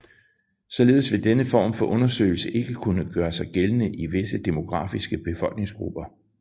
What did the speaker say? Således vil denne form for undersøgelse ikke kunne gøre sig gældende i visse demografiske befolkningsgrupper